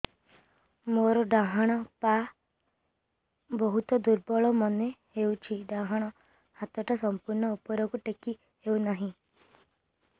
ମୋର ଡାହାଣ ପାଖ ବହୁତ ଦୁର୍ବଳ ମନେ ହେଉଛି ଡାହାଣ ହାତଟା ସମ୍ପୂର୍ଣ ଉପରକୁ ଟେକି ହେଉନାହିଁ